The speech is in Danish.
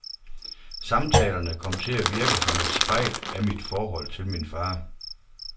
Samtalerne kom til at virke som et spejl af mit forhold til min far.